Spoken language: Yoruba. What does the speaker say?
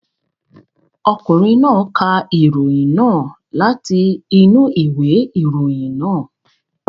Ọkùnrin náà ka ìròyìn náà láti inú ìwé ìròyìn náà.